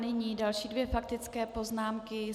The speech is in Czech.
Nyní další dvě faktické poznámky.